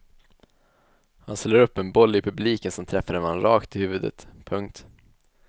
Han slår upp en boll i publiken som träffar en man rakt i huvudet. punkt